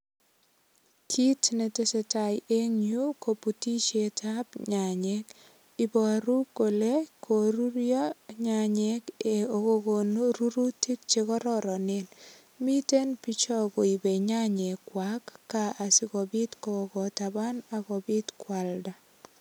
Kiit netesei tai en yu koputishetab nyanyek iboru kole korurio nyanyek akokonu rurutik chekororonen miten bicho koibei nyanyek kwak kaa asikobit kobokotaban akobit kwalda